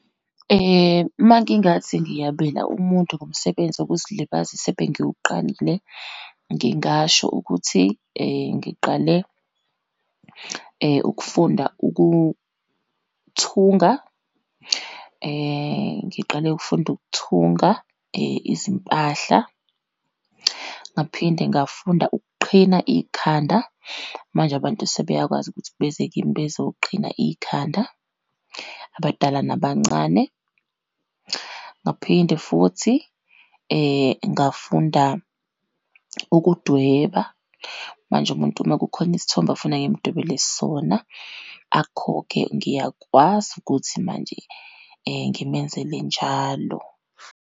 Uma ngingathi ngiyabela umuntu ngomsebenzi wokuzilibazisa ebengiwuqalile, ngingasho ukuthi ngiqale ukufunda ukuthunga, ngiqale ukufunda ukuthunga izimpahla. Ngaphinde ngafunda ukuqhina ikhanda, manje abantu sebeyakwazi ukuthi beze kimi bezoqhina ikhanda, abadala nabancane. Ngaphinde futhi ngafunda ukudweba, manje umuntu uma kukhona isithombe afuna ngimdwebele sona, akhokhe, ngiyakwazi ukuthi manje ngimenzele njalo.